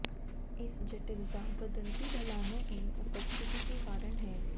इस जटिलता बदलती ढलानों की उपस्थिति के कारण है